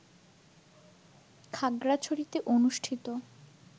খাগড়াছড়িতে অনুষ্ঠিত